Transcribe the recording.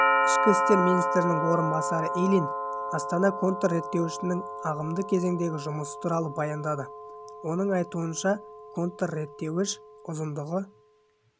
ішкі істер министрінің орынбасары ильин астана контрреттеуішінің ағымдағы кезеңдегі жұмысы туралы баяндады оның айтуынша контрреттеуіш ұзындығы